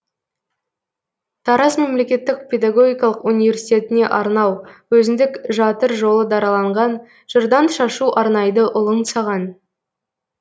тараз мемлекеттік педагогикалық университетіне арнау өзіндік жатыр жолы дараланған жырдан шашу арнайды ұлың саған